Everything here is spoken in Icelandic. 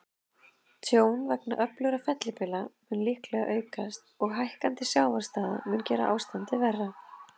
Tjón vegna öflugra fellibylja mun líklega aukast, og hækkandi sjávarstaða mun gera ástandið verra.